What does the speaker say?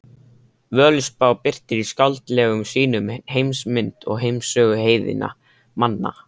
Völuspá birtir í skáldlegum sýnum heimsmynd og heimssögu heiðinna manna.